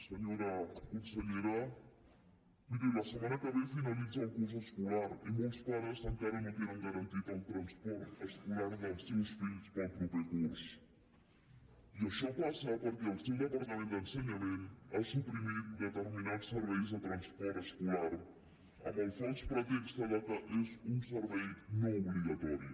senyora consellera miri la setmana que ve finalitza el curs escolar i molts pares encara no tenen garantit el transport escolar dels seus fills per al proper curs i això passa perquè el seu departament d’ensenyament ha suprimit determinats serveis de transport escolar amb el fals pretext que és un servei no obligatori